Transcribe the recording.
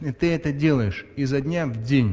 и ты это делаешь изо дня в день